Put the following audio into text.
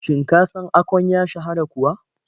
Shin ka san Akon ya shahara kuwa?